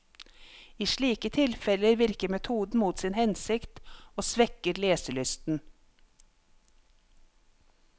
I slike tilfeller virker metoden mot sin hensikt, og svekker leselysten.